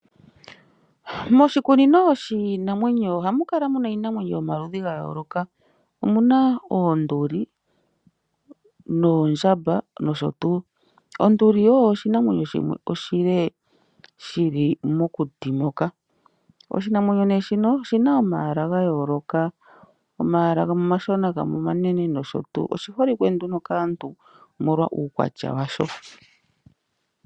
Moshikunino shiinamwenyo ohamu kala muna iinamwenyo yomaludhi ga yooloka. Omu na oonduli, oondjamba nosho tuu. Onduli oyo oshinamwenyo shimwe oshile shi li mokuti moka. Oshinamwenyo shino oshi na omayala ga yooloka, omayala gamwe omashona gamwe omanene nosho tuu. Oshi holike nduno kaantu omolwa uukwatya washo.